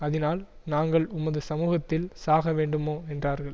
அதினால் நாங்கள் உமது சமுகத்தில் சாக வேண்டுமோ என்றார்கள்